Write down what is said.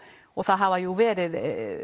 það hafa jú verið